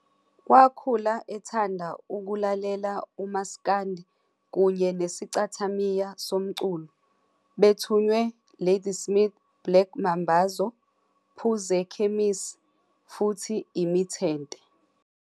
Wakhula ethanda ukulalela umaskandi kunye nesichathamiya somculo, bethonywe Ladysmith Black Mambazo, Phuzekemisi futhi Imithente.